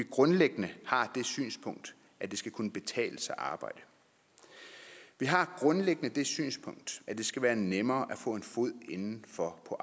grundlæggende det synspunkt at det skal kunne betale sig at arbejde vi har grundlæggende det synspunkt at det skal være nemmere at få foden indenfor på